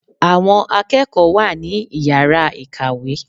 Àwọn akẹ́kọ̀ọ́ wa ní Ìyàrá ìkàwé.